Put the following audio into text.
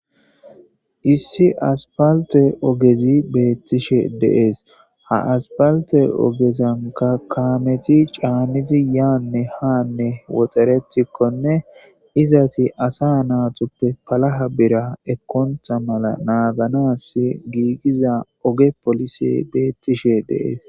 issi aspalte ogezi beettishe de7es ha aspalte ogezanka kaameti caanizi yaanne haanne woxaretikkone izati asa naatuppe palaha bira ekkontha mala naaganas giigiza oge polise beettishe de7es